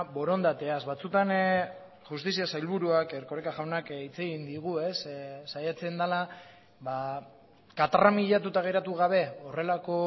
borondateaz batzutan justizia sailburuak erkoreka jaunak hitz egin digu saiatzen dela katramilatuta geratu gabe horrelako